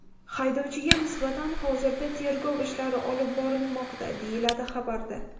Haydovchiga nisbatan hozirda tergov ishlari olib borilmoqda”, deyiladi xabarda.